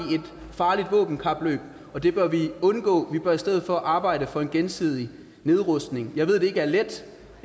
farligt våbenkapløb og det bør vi undgå vi bør i stedet for arbejde for en gensidig nedrustning jeg ved at det ikke er let